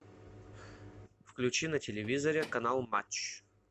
включи на телевизоре канал матч